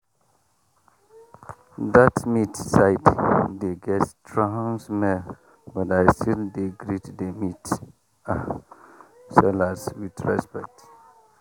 that meat side dey get strong smell but i still dey greet the meat sellers with respect.